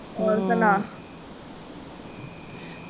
ਹੋਰ ਸੁਣਾ?